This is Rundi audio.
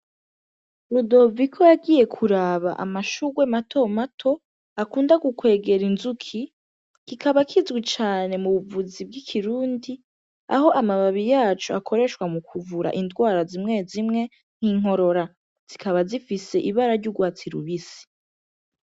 Rudoviko yagiye kuraba amashugwe matomato akunda gukwega inzuki, kikaba kizwi cane mu buvuzi bw'ikirundi, aho amababi yaco akoreshwa mu kuvura indwara zimwe zimwe nk'inkorora. Zikaba zifise ibara ry'urwatsi rubisi.